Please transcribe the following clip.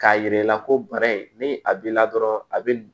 K'a yira i la ko bara in ni a b'i la dɔrɔn a bɛ